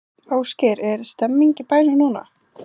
Ásgeir, er stemning í bænum núna?